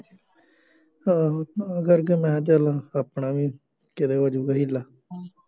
ਆਹੋ ਤਾਂ ਕਰਕੇ ਮੈਂ ਕਿਹਾ ਚੱਲ ਆਪਣਾ ਵੀ ਕਿਤੇ ਹੋ ਜਾਊਗਾ ਹੀਲਾ